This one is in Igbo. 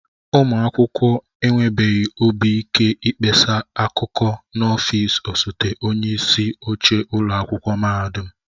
Ụmụ akwụkwọ enwebeghị obi ike ịkpesa akụkọ n'ọfịs osote onyeisi oche ụlọ akwụkwọ mahadum